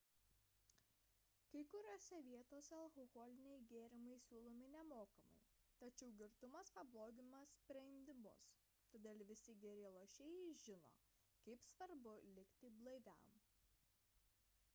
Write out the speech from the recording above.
kai kuriose vietose alkoholiniai gėrimai siūlomi nemokamai tačiau girtumas pablogina sprendimus todėl visi geri lošėjai žino kaip svarbu likti blaiviam